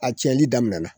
A cɛnli daminɛna